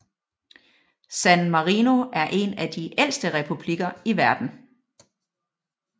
San Marino er en af de ældste republikker i verden